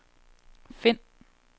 find